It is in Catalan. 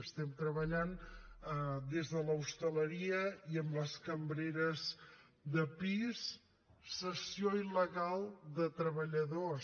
estem treballant des de l’hostaleria i amb les cambreres de pis cessió il·legal de treballadors